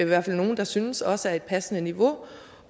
hvert fald nogle der synes også er et passende niveau